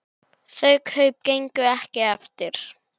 Þau kaup gengu ekki eftir.